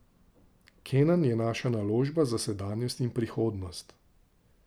Kenan je naša naložba za sedanjost in prihodnost.